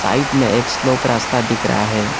Bike में एक slope रास्ता दिख रहा है।